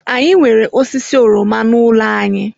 Anyị nwere osisi oroma n'ụlọ anyị.